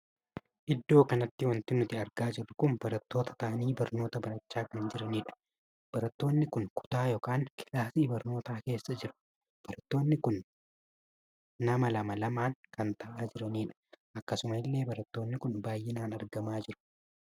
Iddoo kanatti wanti nuti argaa jirru kun barattoota taa'anii barnoota barachaa kan jiranidha. barattoonni kun kutaa ykn kilaasii barnootaa keessa jirru. barattoonni kun nama lama lamaan kan taa'aa jiranidha. akkasuma illee barattoonni kun baay'inaan argamaa jiru.